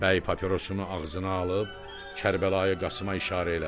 Bəy papirosunu ağzına alıb Kərbəlayı Qasıma işarə elədi.